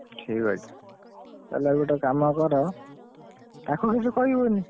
ଠିକ୍ ଅଛି, ତାହେଲେ ଆଉ ଗୋଟେ କାମ କର, ତାକୁ କିଛି କହିବନି?